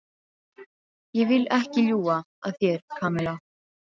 Ég vil ekki ljúga að þér, Kamilla.